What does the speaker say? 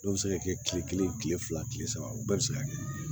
Dɔw bɛ se ka kɛ kile kelen kile fila kile saba o bɛɛ bɛ se ka kɛ